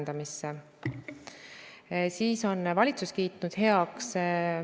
Peale selle kolme lapse teema – see meede on tõesti väga positiivset tulemust andnud – ja see lastega perede eluaseme teema.